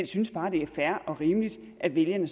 synes bare at det er fair og rimeligt at vælgerne